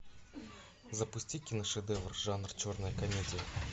запусти киношедевр жанр черная комедия